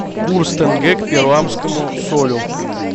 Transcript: курс тенге к перуанскому солю